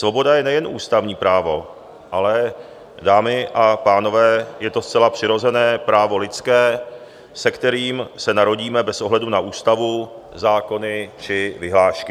Svoboda je nejen ústavní právo, ale dámy a pánové, je to zcela přirozené právo lidské, s kterým se narodíme bez ohledu na ústavu, zákony či vyhlášky.